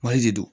de do